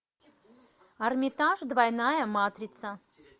армитаж двойная матрица